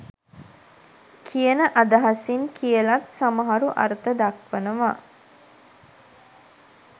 කියන අදහසින් කියලත් සමහරු අර්ථ දක්වනවා.